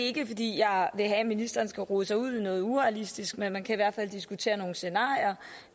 ikke fordi jeg vil have at ministeren skal rode sig ud i noget urealistisk men man kan i hvert fald diskutere nogle scenarier